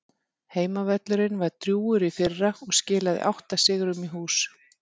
Heimavöllurinn var drjúgur í fyrra og skilaði átta sigrum í hús.